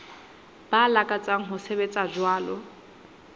ba lakatsang ho sebetsa jwalo